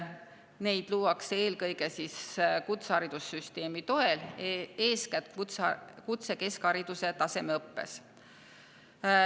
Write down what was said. Neid luuakse eelkõige kutseharidussüsteemi toel, eeskätt kutsekeskhariduse tasemeõppes.